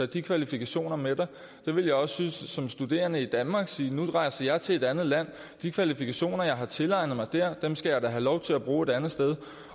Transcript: de kvalifikationer med dig jeg vil også som studerende i danmark kunne sige nu rejser jeg til et andet land og de kvalifikationer som jeg tilegner mig der skal jeg da have lov til at bruge et andet sted